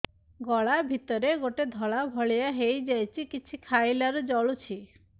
ଗଳା ଭିତରେ ଗୋଟେ ଧଳା ଭଳିଆ ହେଇ ଯାଇଛି କିଛି ଖାଇଲାରୁ ଜଳୁଛି